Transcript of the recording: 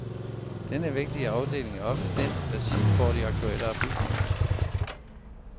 Denne vigtige afdeling er ofte den, der sidst får de aktuelle oplysninger.